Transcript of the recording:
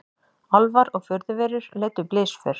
Álfar og furðuverur leiddu blysför